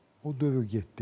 O dövr getdi.